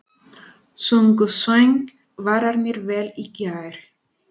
Sungu söngvararnir vel í gær?